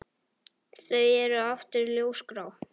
Þau eru aftur ljósgrá.